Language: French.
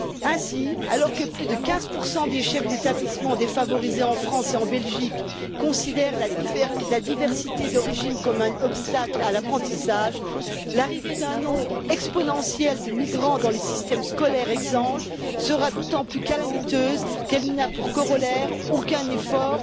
Ainsi, alors que plus de 15 des chefs d'établissements défavorisés en France et en Belgique considèrent la diversité d'origine comme un obstacle à l'apprentissage, l'arrivée d'un nombre exponentiel de migrants dans les systèmes scolaires exsangues sera d'autant plus calamiteuse qu'elle n'a pour corollaire aucun effort